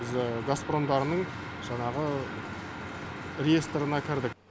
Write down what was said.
біз газпромдарының жаңағы реестрына кірдік